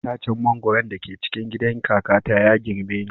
Itacen mangwaro da ke cikin gidan kakata ya girme ni